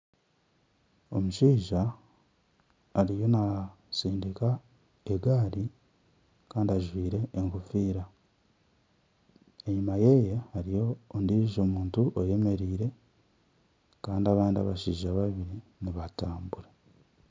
Omushaija ariyo natsindika egaari kandi ajwaire enkofiira enyuma yeeye hariho ondijo muntu oyemereire kandi abandi abashaija babiri nibatambura.